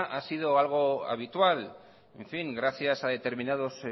ha sido algo habitual en fin gracias a determinados